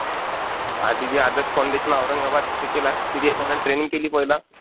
आधीचे आदर्श फाऊंडेशन, औरंगाबाद तिथे केलाय. तिथे एक महिना ट्रेनिंग केली पहिला.